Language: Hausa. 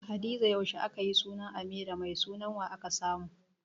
Hadiza yaushe akayi sunan Amira, Mai sunan wa aka samu?